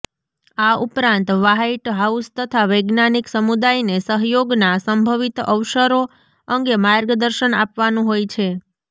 આ ઉપરાંત White House તથા વૈજ્ઞાનિક સમુદાયને સહયોગના સંભવિત અવસરો અંગે માર્ગદર્શન આપવાનું હોય છે